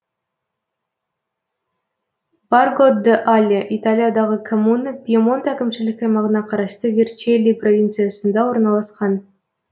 борго д але италиядағы коммуна пьемонт әкімшілік аймағына қарасты верчелли провинциясында орналасқан